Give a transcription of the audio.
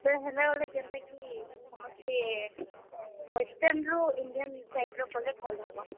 ବେଲେ ହେନ ଗୁଟେ ଯେନ୍ତା କି ସମସ୍ତେ western ରୁ Indian type ର କେଲେ ଭଲ୍ ହେବା।